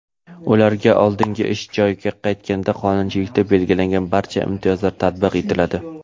ularga oldingi ish joyiga qaytganida qonunchilikda belgilangan barcha imtiyozlar tatbiq etiladi.